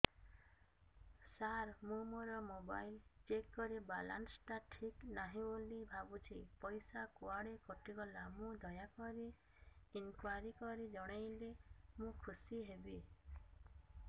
ସାର ମୁଁ ମୋର mobile check କଲି ବାଲାନ୍ସ ଟା ଠିକ ନାହିଁ ବୋଲି ଭାବୁଛି ପଇସା କୁଆଡେ କଟି ଗଲା କି ଦୟାକରି ଇନକ୍ୱାରି କରି ଜଣାଇଲେ ମୁଁ ଖୁସି ହେବି